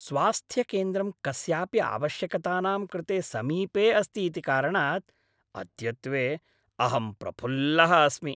स्वास्थ्यकेन्द्रं कस्यापि आवश्यकतानां कृते समीपे अस्ति इति कारणात् अद्यत्वे अहं प्रफुल्लः अस्मि।